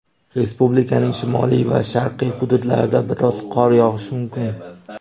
Respublikaning shimoliy va sharqiy hududlarida biroz qor yog‘ishi mumkin.